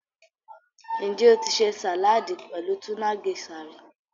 Njẹ́ o tì ṣè saládì pẹ̀lú túna Geisha rí?